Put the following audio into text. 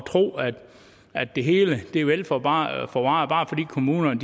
tro at det hele er vel forvaret forvaret bare fordi kommunerne